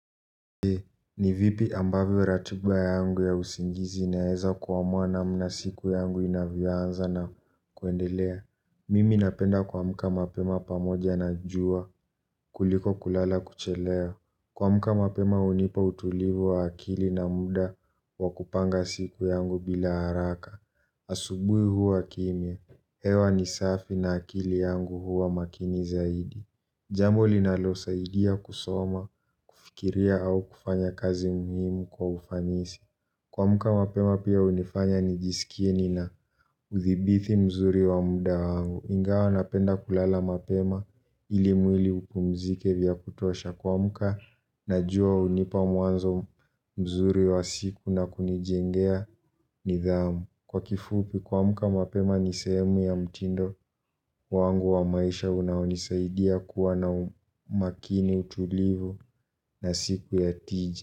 Ni vipi ambavyo ratiba yangu ya usingizi inaweza kuamua na mna siku yangu inavyoanza na kuendelea. Mimi napenda kuamka mapema pamoja na jua kuliko kulala kuchelewa. Kuamka mapema hunipa utulivu wa akili na muda wa kupanga siku yangu bila haraka. Asubuhi huwa kimya, hewa ni safi na akili yangu huwa makini zaidi. Jambo linalo saidia kusoma, kufikiria au kufanya kazi muhimu kwa ufanisi. Kumka mapema pia hunifanya nijisikie nina uthibiti mzuri wa muda wangu. Ingawa napenda kulala mapema ili mwili upumzike vya kutosha. Kuamka najua hunipa mwanzo mzuri wa siku na kunijengea nidhamu. Kwa kifupi kuamka mapema nisehemu ya mtindo wangu wa maisha unaonisaidia kuwa na umakini utulivu na siku ya tija.